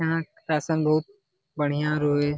यहाँ का बढ़िया रोए --